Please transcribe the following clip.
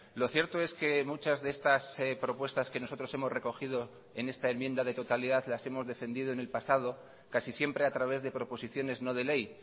lo cierto es que muchas de estas propuestas que nosotros hemos recogido en esta enmienda de totalidad las hemos defendido en el pasado casi siempre a través de proposiciones no de ley